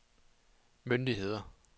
myndigheder